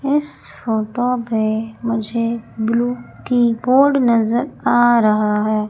इस फोटो पे मुझे ब्लू कीबोर्ड नजर आ रहा है।